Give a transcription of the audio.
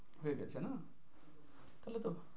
হয়ে গেছে না? তাহলে তো,